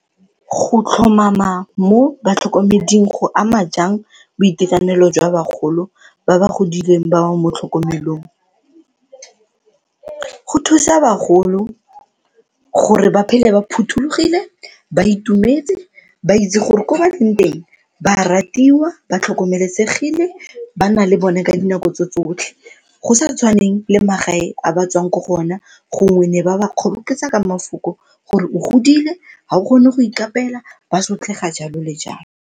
Go tlhomama mo batlhokomeding go ama jang boitekanelo jwa bagolo ba ba godileng ba ba mo tlhokomelong? Go thusa bagolo gore ba phele ba phuthologile, ba itumetse ba itse gore kwa ba leng teng ba a ratiwa, ba tlhokomelesegile, ba na le bone ka dinako tse tsotlhe go sa tshwaneng le magae a ba tswang ko go ona gongwe ne ba ba kgoboketsa ka mafoko gore o godile, ga o kgone go ikapeela ba sotlega, jalo le jalo.